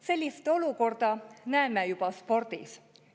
Sellist olukorda näeme juba spordis.